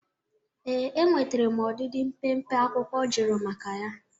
Ee, enwetere m ọdịdị mpempe akwụkwọ ọ jụrụ maka ya.